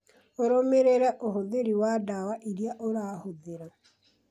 ũrũmĩrĩre ũhũthĩri wa ndawa iria ũrahũthĩra